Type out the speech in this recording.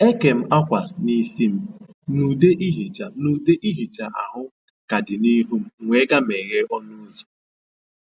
E kèm akwa n’isi m, na ude ihicha na ude ihicha ahụ ka dị n’ihu m, m wee gaa meghee ọnụ ụzọ